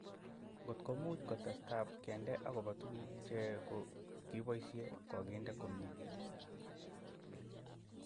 Ngotko much kotestab kende akopo tuguk che kiboisie kokindei komnye